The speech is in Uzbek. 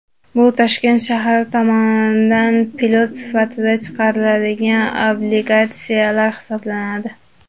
Bu Toshkent shahri tomonidan pilot sifatida chiqariladigan obligatsiyalar hisoblanadi.